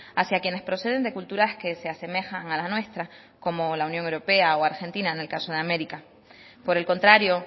hacia quienes proceden de culturas que se asemejan a la nuestra como la unión europea o argentina en el caso de américa por el contrario